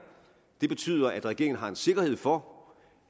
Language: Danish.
det betyder at regeringen har en sikkerhed for